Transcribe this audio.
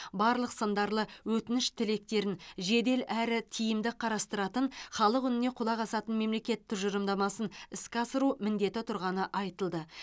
барлық сындарлы өтініш тілектерін жедел әрі тиімді қарастыратын халық үніне құлақ асатын мемлекет тұжырымдамасын іске асыру міндеті тұрғаны айтылды